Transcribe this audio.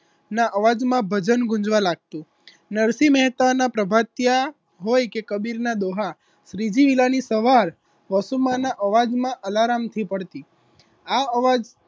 ના અવાજમાં ભજન ગુંજવા લાગતું નરસિંહ મહેતાના પ્રભાતિયા હોય કે કબીરના દોહા શ્રીજી વીલાની સવાર વસુમાના અવાજમા alarm થી પડતી આ અવાજ